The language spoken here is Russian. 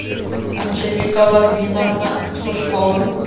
анжелика логвиновна сушкова